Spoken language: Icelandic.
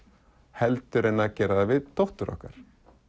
heldur en að gera það við dóttur okkar